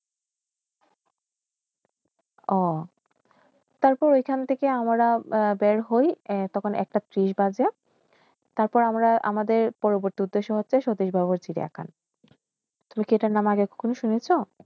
ও তারপর ঐখানটিকেআমরা বের হয় তখন একটা ত্রিশ বাজে তারপর আমার আমাদের পরবর্তী উদ্দেশ্য সাথিসবাবুর সিরিয়াখাল রুকেটা নামাগেল কোন শুনেশ